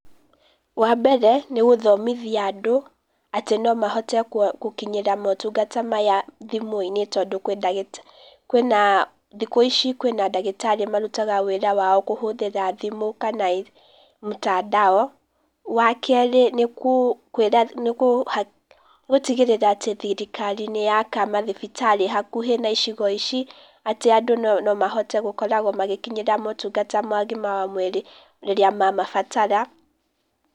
Wa mbere, nĩ gũthomithia andũ, atĩ no mahote gũkinyĩra motungata maya thimũ-inĩ tondũ kwĩ ndagĩta , kwĩna , thikũ ici, kwĩna ndagĩtarĩ marutaga wĩra wao kũhũthĩra thimũ kana mtandao Wa kerĩ nĩ kũ nĩ gũtigĩrĩra atĩ thirikari nĩyaka mathibitarĩ hakuhĩ na icigo ici atĩ andũ no mahote gũkoragwo magĩkinyira motungata mo ũgima wa mwĩrĩ rĩrĩa mamabatara.